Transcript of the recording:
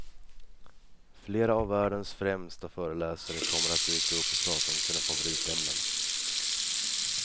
Flera av världens främsta föreläsare kommer att dyka upp och prata om sina favoritämnen.